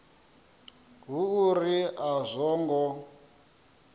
hu uri a zwo ngo